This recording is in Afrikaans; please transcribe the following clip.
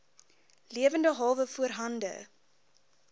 lewende hawe voorhande